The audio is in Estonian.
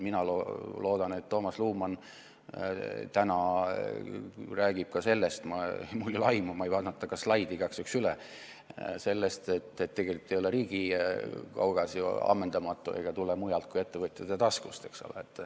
Mina loodan, et Toomas Luman täna räägib ka sellest – mul ei ole sellest aimu, ma ei vaadanud ka ta slaide igaks juhuks üle –, et tegelikult ei ole riigi kaugas ju ammendamatu ega tule mujalt kui ettevõtjate taskust.